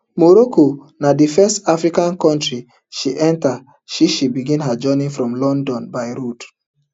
morocco na di first african kontri she enta since she begin her journey from london by road